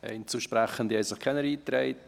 Einzelsprechende haben sich keine eingetragen.